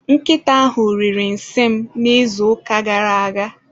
Nkịta ahụ riri nsị m n'izuụka gara aga.